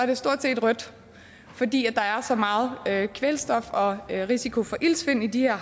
det stort set rødt fordi der er så meget kvælstof og risiko for iltsvind i de her